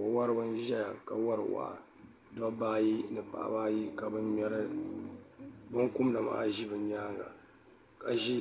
wawariba n ʒɛya ka wawari waya do baayi ni paɣ' ba ayi ka ŋɔ ŋmɛri bɛnikomida maa ʒɛ be nyɛŋa ka ʒɛ